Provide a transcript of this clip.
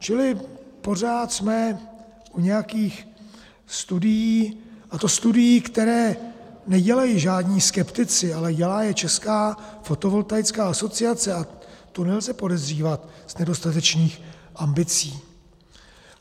Čili pořád jsme u nějakých studií, a to studií, které nedělají žádní skeptici, ale dělá je Česká fotovoltaická asociace a tu nelze podezřívat z nedostatečných ambicí.